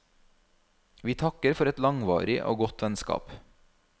Vi takker for et langvarig og godt vennskap.